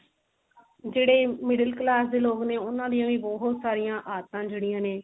ਜਿਹੜੇ middle class ਦੇ ਲੋਗ ਨੇ ਉਹਨਾਂ ਦੀਆਂ ਵੀ ਬਹੁਤ ਸਾਰੀਆਂ ਆਦਤਾਂ ਜਿਹੜੀਆਂ ਨੇ